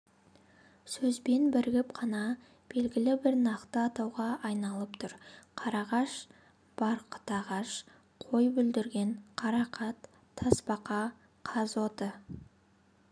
сөзбен бірігіп қана белгілі бір нақты атауға айналып тұр қарағаш барқытағаш қойбүлдірген қарақат тасбақа қазоты